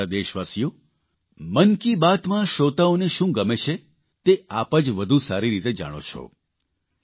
મારા વ્હાલા દેશવાસીઓ મન કી બાતમાં શ્રોતાઓને શું ગમે છે તે આપ જ વધુ સારી રીતે જાણો છો